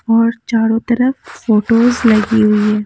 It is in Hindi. और चारों तरफ फोटोस लगी हुई हैं।